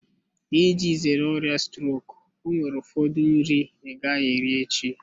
Iji zere ọrịa strok enwere ụfọdụ nri ị gaghị eri echi.